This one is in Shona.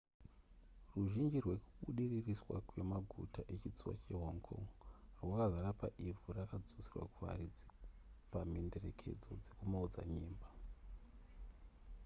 ruzhinji rwekubudiririswa kwemaguta echitsuwi chehong kong rwakazara paivhu rakadzoserwa kuvaridzi pamhenderekedzo dzekumaodzanyemba